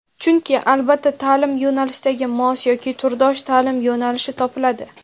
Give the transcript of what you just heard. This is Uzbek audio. chunki albatta taʼlim yo‘nalishigi mos (yoki turdosh) taʼlim yo‘nalishi topiladi.